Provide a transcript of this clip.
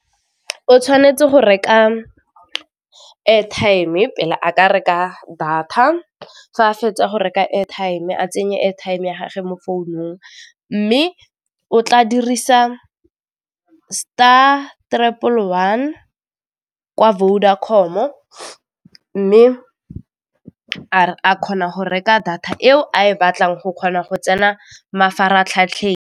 O tshwanetse go reka airtime pele a ka reka data, fa a fetsa go reka airtime a tsenye airtime ya gage mo founung mme o tla dirisa star triple one kwa Vodacom-o, mme a kgona go reka data eo a e batlang go kgona go tsena mafaratlhatlheng.